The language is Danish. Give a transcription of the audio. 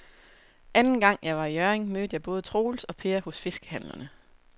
Anden gang jeg var i Hjørring, mødte jeg både Troels og Per hos fiskehandlerne.